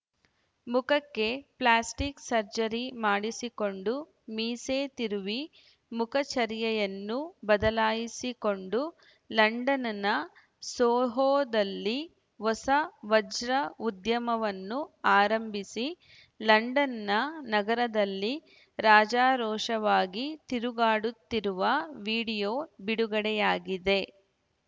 ಮುಖಕ್ಕೆ plastic surgery ಮಾಡಿಸಿಕೊಂಡು ಮೀಸೆ ತಿರುವಿ ಮುಖಚರ್ಯೆಯನ್ನು ಬದಲಾಯಿಸಿಕೊಂಡು ಲಂಡನ್‌ನ ಸೋಹೊದಲ್ಲಿ ಹೊಸ ವಜ್ರದ ಉದ್ಯಮವನ್ನು ಆರಂಭಿಸಿ ಲಂಡನ್‌ನ ನಗರದಲ್ಲಿ ರಾಜಾರೋಷವಾಗಿ ತಿರುಗಾಡುತ್ತಿರುವ ವೀಡಿಯೊ ಬಿಡುಗಡೆಯಾಗಿದೆ